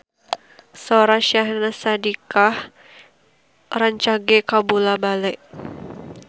Sora Syahnaz Sadiqah rancage kabula-bale